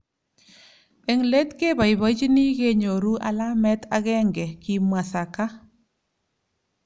Eng let keboibochini kenyoru alamet agenge ," kimwa Xhaka .